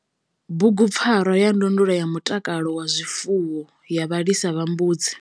Bugupfarwa ya ndondolo ya mutakalo wa zwifuwo ya vhalisa vha mbudzi.